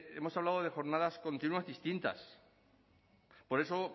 hemos hablado de jornadas continuas distintas por eso